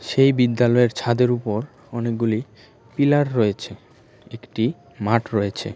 এই বিদ্যালয়ের ছাদের উপর অনেকগুলি পিলার রয়েছে একটি মাঠ রয়েছে।